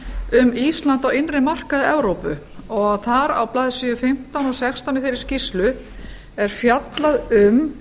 um ísland á innri markaði evrópu og þar á blaðsíðu fimmtán og sextán í þeirri skýrslu er fjallað um